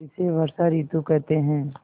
इसे वर्षा ॠतु कहते हैं